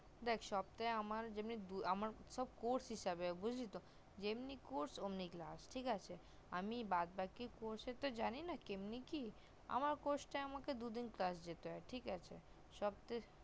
দেখ সপ্তাহে আমার যেমনি দু আমার course হিসাবে বুজলি তো যেমনি course অমনি class ঠিক আছে আমি বাদ বাকি course জানি না কেমনে কি আছে তো আমার course টা আমাকে দুদিন class দিতো ঠিক আছে সপ্তা